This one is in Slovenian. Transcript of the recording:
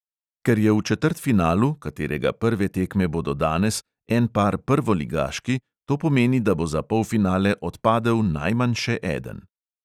Ker je v četrtfinalu, katerega prve tekme bodo danes, en par prvoligaški, to pomeni, da bo za polfinale odpadel najmanj še eden.